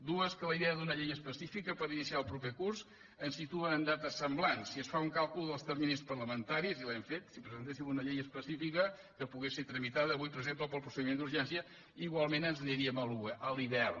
dues que la idea d’una llei específica per iniciar el proper curs ens situa en dates semblants si es fa un càlcul dels terminis parlamentaris i l’hem fet si presentéssim una llei específica que po·gués ser tramitada avui per exemple pel procediment d’urgència igualment ens n’aniríem a l’hivern